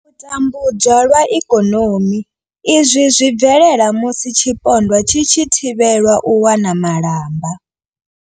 U tambudzwa lwa ikonomi izwi zwi bvelela musi tshipondwa tshi tshi thivhelwa u wana malamba.